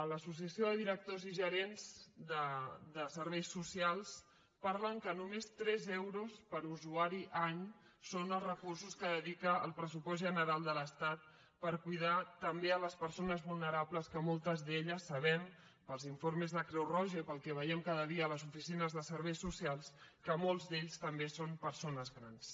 l’associació de directors i gerents de serveis socials parla que només tres euros per usuari any són els recursos que dedica el pressupost general de l’estat per cuidar també les persones vulnerables que sabem pels informes de creu roja i pel que veiem cada dia a les oficines de serveis socials que moltes d’elles també són persones grans